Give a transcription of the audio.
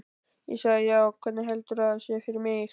Ég sagði: Já, hvernig heldurðu að það sé fyrir mig?